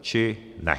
či ne.